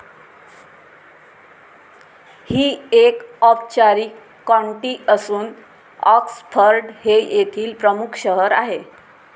ही एक औपचारीक कॉन्टी असून ऑक्सफर्ड हे येथील प्रमुख शहर आहे.